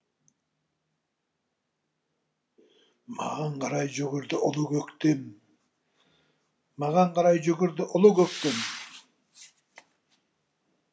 маған қарай жүгірді ұлы көктем маған қарай жүгірді ұлы көктем